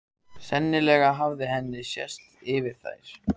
Sennilega hafði henni sést yfir þær.